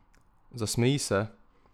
Zasmeji se.